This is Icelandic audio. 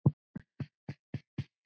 Björn Ingi: Haft eftir þér?